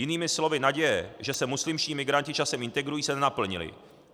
Jinými slovy naděje, že se muslimští migranti časem integrují, se nenaplnily.